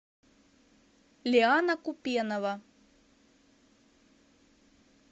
лиана купенова